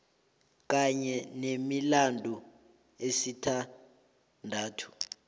kanye nemilandu esithandathu